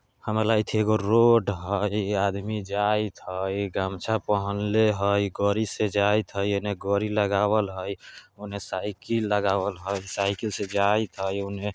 हमरा लागएत हय एगो रोड हय आदमी जाइत हय गमछा पहनले हय गड़ी से जाइत हय एने गड़ी लगावल हय औने साइकिल लगावल हय साइकिल से जाइत हय औने --